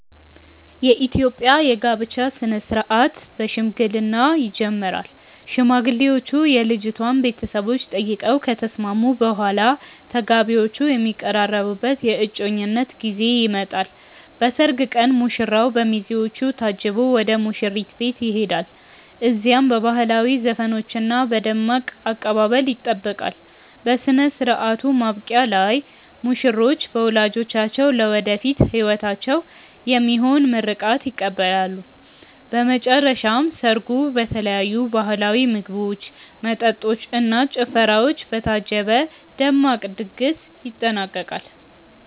የኢትዮጵያ የጋብቻ ሥነ ሥርዓት በሽምግልና ይጀምራል። ሽማግሌዎች የልጅቷን ቤተሰቦች ጠይቀው ከተስማሙ በኋላ፣ ተጋቢዎቹ የሚቀራረቡበት የእጮኝነት ጊዜ ይመጣል። በሰርግ ቀን ሙሽራው በሚዜዎቹ ታጅቦ ወደ ሙሽሪት ቤት ይሄዳል። እዚያም በባህላዊ ዘፈኖችና በደማቅ አቀባበል ይጠበቃል። በሥነ ሥርዓቱ ማብቂያ ላይ ሙሽሮች በወላጆቻቸው ለወደፊት ሕይወታቸው የሚሆን ምርቃት ይቀበላሉ። በመጨረሻም ሰርጉ በተለያዩ ባህላዊ ምግቦች፣ መጠጦች እና ጭፈራዎች በታጀበ ደማቅ ድግስ ይጠናቀቃል።